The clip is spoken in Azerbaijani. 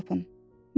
Özünüz tapın.